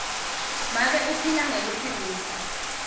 make uphila ngekutsengisa